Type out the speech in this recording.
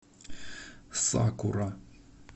сакура